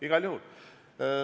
Igal juhul.